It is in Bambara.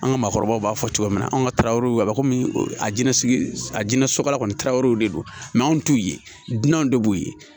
An ka maakɔrɔbaw b'a fɔ cogo min na an ka tarawew a bɛ komi a jinɛsigi a jinɛ sokala kɔni taaraw de don anw t'u ye dunanw de b'u ye